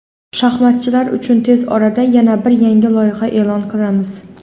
Shaxmatchilar uchun tez orada yana bir yangi loyiha e’lon qilamiz….